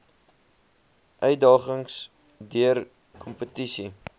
uitdagings deur kompetisie